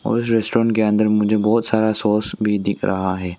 और इस रेस्टोरेंट के अंदर मुझे बहोत सारा सॉस भी दिख रहा है।